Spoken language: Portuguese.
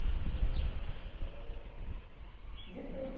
Ela dava aula do quê? De tudo